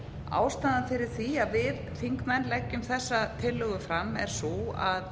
ástæðan fyrir því að við þingmenn leggjum þessa tillögu fram er sú að